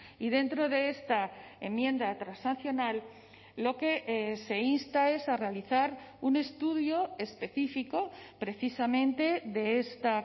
y dentro de esta enmienda transaccional lo que se insta es a realizar un estudio específico precisamente de esta